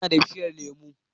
Ina da bishiyar lemu